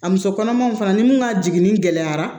A muso kɔnɔmaw fana ni mun ka jigini gɛlɛyara